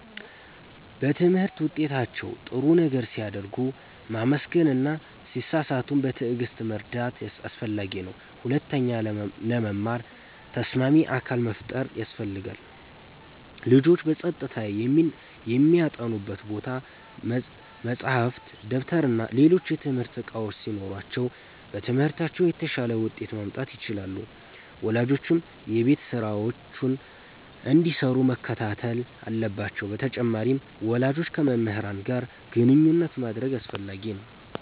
በትምህርት ውጤታቸው ጥሩ ነገር ሲያደርጉ ማመስገን እና ሲሳሳቱም በትዕግሥት መርዳት አስፈላጊ ነው። ሁለተኛ፣ ለመማር ተስማሚ አካባቢ መፍጠር ያስፈልጋል። ልጆች በጸጥታ የሚያጠኑበት ቦታ፣ መጻሕፍት፣ ደብተርና ሌሎች የትምህርት እቃዎች ሲኖሯቸው በትምህርታቸው የተሻለ ውጤት ማምጣት ይችላሉ። ወላጆችም የቤት ስራቸውን እንዲሰሩ መከታተል አለባቸው በተጨማሪም፣ ወላጆች ከመምህራን ጋር ግንኙነት ማድረግ አስፈላጊ ነው።